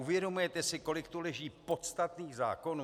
Uvědomujete si, kolik tu leží podstatných zákonů?